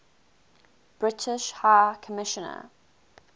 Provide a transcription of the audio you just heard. british high commissioner